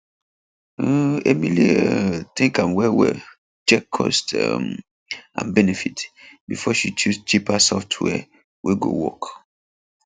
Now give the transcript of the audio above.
um emily um think am well well check cost um and benefit before she choose cheaper software wey go work